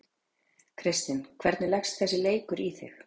Kristinn, hvernig leggst þessi leikur í þig?